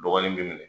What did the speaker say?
Dɔgɔnin bɛ minɛ